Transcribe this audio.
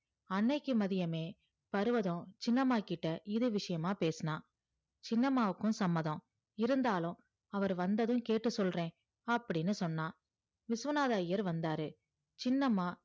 அன்னைக்கி மதியமே பர்வதம் சின்னம்மாகிட்ட இது விஷயம்மா பேசுனா சின்னம்மாவுக்கு சம்மதம் இருந்தாலும் அவரு வந்ததும் கேட்டு சொல்ற அப்டின்னு சொன்னா விஸ்வநாதர் ஐயர் வந்தாரு